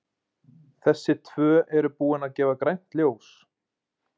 Þessi tvö eru búin að gefa grænt ljós.